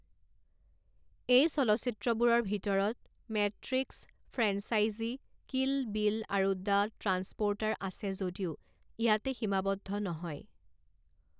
এই চলচ্চিত্ৰবোৰৰ ভিতৰত মেট্ৰিক্স ফ্ৰেঞ্চাইজি, কিল বিল আৰু দ্য ট্ৰান্সপ'ৰ্টাৰ আছে যদিও ইয়াতে সীমাবদ্ধ নহয়।